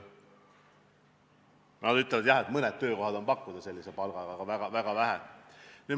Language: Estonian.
Nad ütlevad, et mõned töökohad sellise palgaga on, aga neid on väga vähe.